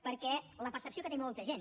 perquè la percepció que té molta gent